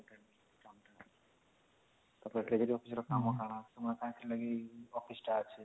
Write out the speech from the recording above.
ସେ treasury office ର କାମ କଣ ଥିଲା କି office ଟା ଅଛି